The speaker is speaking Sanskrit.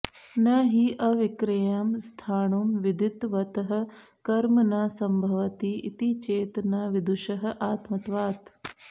न हि अविक्रियं स्थाणुं विदितवतः कर्म न संभवति इति चेत् न विदुषः आत्मत्वात्